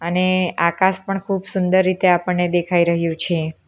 અને આકાશ પણ ખૂબ સુંદર રીતે આપણને દેખાઈ રહ્યું છે.